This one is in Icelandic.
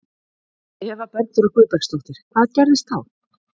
Eva Bergþóra Guðbergsdóttir: Hvað gerðist þá?